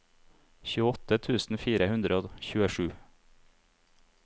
tjueåtte tusen fire hundre og tjuesju